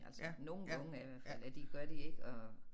Altså nogle unge er i hvert fald at de gør de ikke og